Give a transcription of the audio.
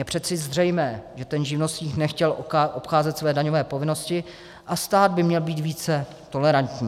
Je přece zřejmé, že ten živnostník nechtěl obcházet své daňové povinnosti, a stát by měl být více tolerantní.